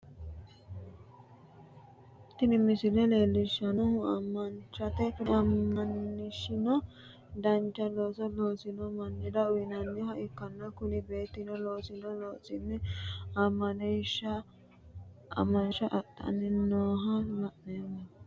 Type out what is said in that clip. tini misile leellishshannohu aamansha ikkitanna, kuni aamanshino dancha looso loosi'no mannira uyinanniha ikkanna ,kuni beettino loosino loosinni aamansha adhanni nooha la'anni noommo.